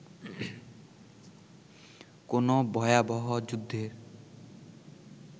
কোনো ভয়াবহ যুদ্ধের